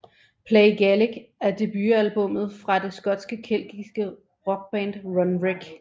Play Gaelic er debutalbummet fra det skotske keltiske rockband Runrig